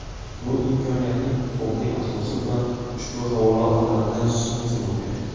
Bu imkoniyatning huquqiy asosi bilan ushbu havola orqali tanishishingiz mumkin.